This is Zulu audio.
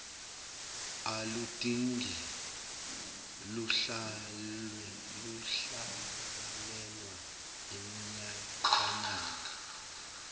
aludingi kuhlalelwa iminyakanyaka